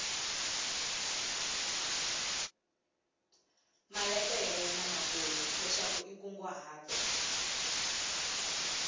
maletere lamakulu leswaku i nkunguhato